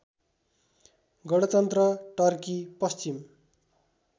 गणतन्त्र टर्की पश्चिम